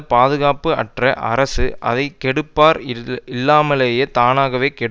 பாதுகாப்பு அற்ற அரசு அதை கெடுப்பார் இல்லாமலேயே தானாகவே கெடும்